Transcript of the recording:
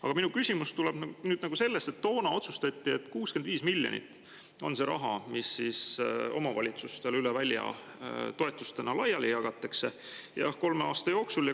Aga minu küsimus tuleneb sellest, et toona otsustati, et 65 miljonit eurot on see rahasumma, mis omavalitsustele toetustena üle välja laiali jagatakse kolme aasta jooksul.